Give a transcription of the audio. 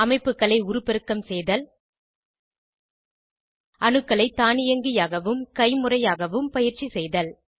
அமைப்புகளை உருப்பெருக்கம் செய்தல் அணுக்களை தானியங்கியாகவும் கைமுறையாகவும் பயிற்சி செய்தல்